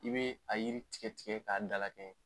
I bɛ a yiri tigɛ tigɛ k'a dala kɛɲɛ.